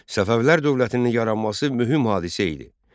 Səfəvilər dövlətinin yaranması mühüm hadisə idi.